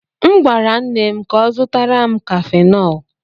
M gwara nne m ka ọ zụtara m cafenol.